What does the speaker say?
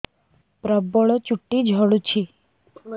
ପ୍ରବଳ ଚୁଟି ଝଡୁଛି